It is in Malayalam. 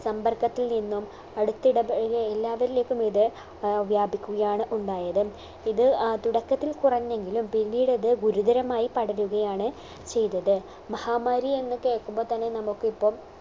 സമ്പർക്കത്തിൽ നിന്നും അടുത്തിടപഴകിയ എല്ലാവരിലേക്കും ഇത് ആഹ് വ്യാപിക്കുകയാണ് ഉണ്ടായത് ഇത് ഏർ തുടക്കത്തിൽ കുറഞ്ഞെങ്കിലും പിന്നീടത് ഗുരുതരമായി പടരുകയാണ് ചെയ്തത് മഹാമാരി എന്ന് കേക്കുമ്പോ തന്നെ നമുക്ക് ഇപ്പം